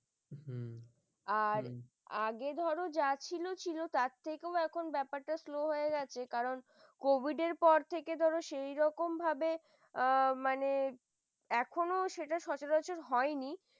আর হম আগের ধর যা ছিল ছিল তার থেকেও ব্যাপারটা slow হয়ে গেছে কারণ কবিরের পর থেকে ধরো, সে রকম ভাবে অ মানে এখনো সেটা সচরাচর হয়নি